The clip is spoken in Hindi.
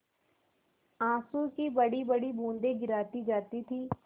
आँसू की बड़ीबड़ी बूँदें गिराती जाती थी